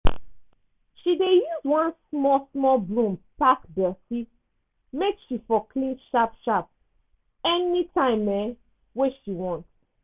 she dey use one small small broom pack dirty make she for clean sharp sharp anytime um wey she want